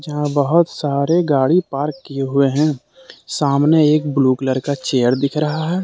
यहां बहोत सारे गाड़ी पार्क किए हुए है सामने एक ब्लू कलर का चेयर दिखे रहा है।